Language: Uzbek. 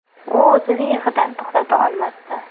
U o‘zini yig‘idan to‘xtata olmasdi.